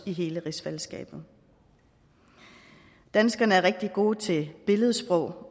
i hele rigsfællesskabet danskerne er rigtig gode til billedsprog